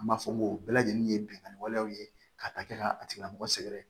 An b'a fɔ n ko o bɛɛ lajɛlen ye binkani walew ye ka kɛ ka a tigilamɔgɔ sɛgɛrɛ